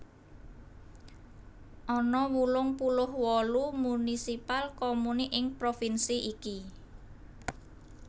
Ana wolung puluh wolu municipal comuni ing provinsi iki